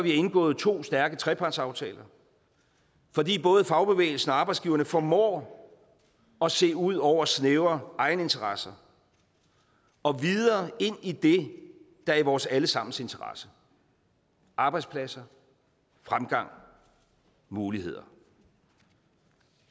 indgået to stærke trepartsaftaler fordi både fagbevægelsen og arbejdsgiverne formår at se ud over snævre egeninteresser og videre ind i det der er i vores alle sammens interesse arbejdspladser fremgang muligheder